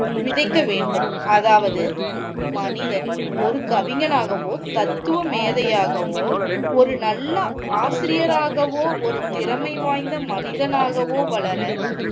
விதைக்க வேண்டும் அதாவது மனிதன் ஓர் கவிஞனாகவோ தத்துவமேதையாகவோ ஒரு நல்ல ஆசிரியராகவோ ஒரு திறமை வாய்ந்த மனிதனாகவோ வளர